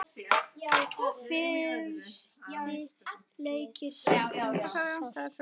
Fyrsti leikur sem þú sást?